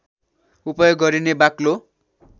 उपयोग गरिने बाक्लो